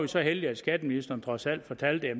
så heldige at skatteministeren trods alt fortalte at